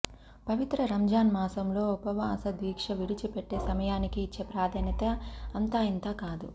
పవిత్ర రంజాన్ మాసంలో ఉపవాస దీక్ష విడిచిపెట్టే సమయానికి ఇచ్చే ప్రాధాన్యత అంతా ఇంతా కాదు